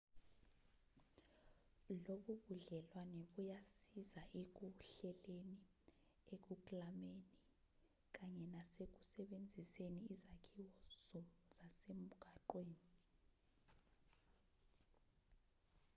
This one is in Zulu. lobu budlelwane buyasiza ekuhleleni ekuklameni kanye nasekusebenziseni izakhiwo zasemgwaqweni